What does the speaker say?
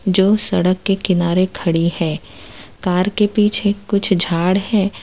जो सड़क के किनारे खड़ी है कार के पीछे कुछ झाड़ है।